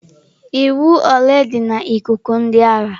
Iwu ole dị na ikuku ndị agha?